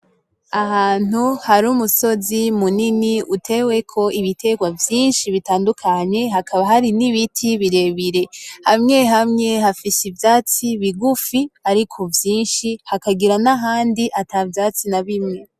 Ahantu hari umusozi munini uteweko ibitegwa vyinshi bitandukanye hakaba hari n'ibiti birebire. Hamwe hamwe hafise ivyatsi bigufi ariko vyinshi hakagira nahandi atavyatsi nabimwe.